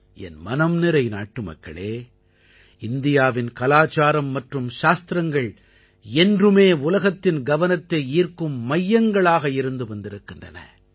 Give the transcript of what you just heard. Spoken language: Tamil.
என் மனம்நிறை நாட்டுமக்களே இந்தியாவின் கலாச்சாரம் மற்றும் சாத்திரங்கள் என்றுமே உலகத்தின் கவனத்தை ஈர்க்கும் மையங்களாக இருந்து வந்திருக்கின்றன